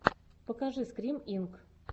покажи скрим инк